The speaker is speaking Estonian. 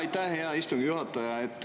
Aitäh, hea istungi juhataja!